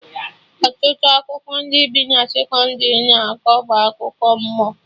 Ọtụtụ akụkọ ndị bi na sekọndrị na-akọ bụ akụkọ mmụọ